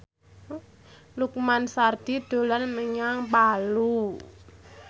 Lukman Sardi dolan menyang Palu